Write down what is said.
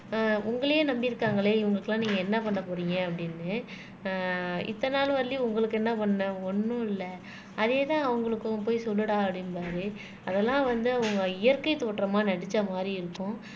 ஆஹ் உங்களையே நம்பி இருக்காங்களே இவங்களுக்கு எல்லாம் நீங்க என்ன பண்ண போறீங்க அப்படின்னு ஆஹ் இத்தனை நாள் வரையிலும் உங்களுக்கு என்ன பண்ணேன் ஒண்ணும் இல்லை அதே தான் அவங்களுக்கும் போய் சொல்லுடா அப்படிம்பாரு அதெல்லாம் வந்து அவங்க இயற்கை தோற்றமா நடிச்ச மாதிரி இருக்கும்